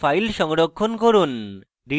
file সংরক্ষণ করুন